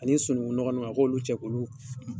Ali sununkunɔgɔn nun a k'olu cɛ k'olu